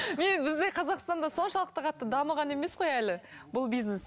мен бізде қазақстанда соншалықты қатты дамыған емес қой әлі бұл бизнес